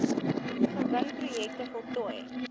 gewing projekte voltooi